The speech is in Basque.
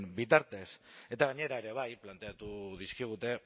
bitartez eta gainera ere bai planteatu dizkigute